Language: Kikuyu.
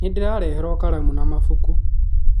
Nĩ ndarehirũo karamu na mabuku